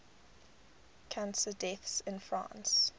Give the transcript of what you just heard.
cancer deaths in france